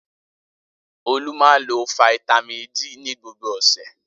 Olú máa ń lo fataímìn ad ní gbogbo ọ̀sẹ̀.